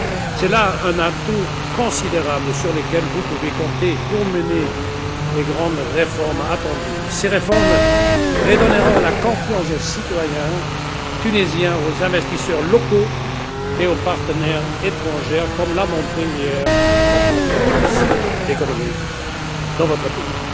C'est là un atout considérable sur lequel vous pouvez compter pour mener les grandes réformes attendues. Ces réformes redonneront la confiance aux citoyens tunisiens, aux investisseurs locaux et aux partenaires étrangers, comme l'a montré, hier, la conférence économique dans votre pays.